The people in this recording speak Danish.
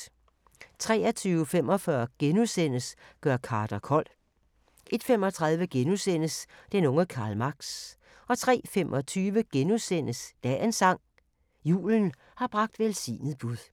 23:45: Gør Carter kold * 01:35: Den unge Karl Marx * 03:25: Dagens sang: Julen har bragt velsignet bud *